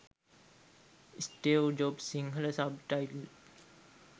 steve jobs sinhala sub title